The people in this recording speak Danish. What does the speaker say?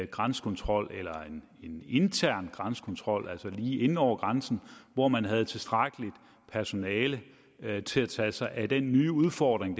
grænsekontrol eller en intern grænsekontrol altså lige inde over grænsen hvor man havde tilstrækkeligt personale til at tage sig af den nye udfordring